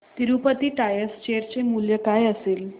Tirupati tyres share चे मूल्य काय असेल